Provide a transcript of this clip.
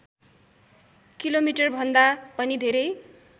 किलोमिटरभन्दा पनि धेरै